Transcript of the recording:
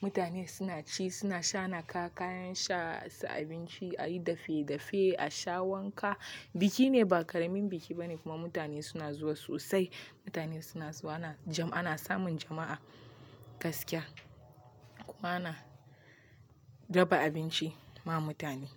mutane suna ci, suna sha, naka kayan sha, su abinci, a yi dafe-dafe, a sha wanka. Biki ne ba ƙaramin biki ba ne kuma mutane suna zuwa sosai. Mutane suna zuwa ana samun jama'a gaskiya kuma ana raba abinci ma mutane.